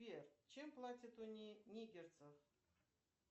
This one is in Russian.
сбер чем платят у нигерцев